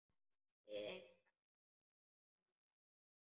Við engan að sakast